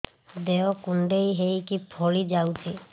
ଦେହ କୁଣ୍ଡେଇ ହେଇକି ଫଳି ଯାଉଛି